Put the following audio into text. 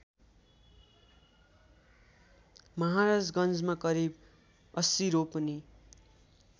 महाराजगन्जमा करिब ८० रोपनि